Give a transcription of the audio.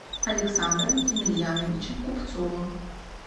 александра емельяновича купцова